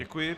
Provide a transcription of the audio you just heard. Děkuji.